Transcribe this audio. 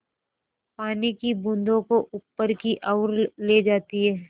पानी की बूँदों को ऊपर की ओर ले जाती है